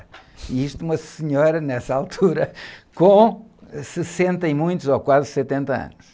E isto uma senhora, nessa altura, com sessenta e muitos, ou quase setenta anos.